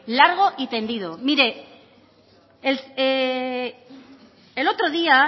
largo y tendido mire el otro día